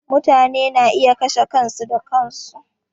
Mutane na iya kashe kansu da kansu.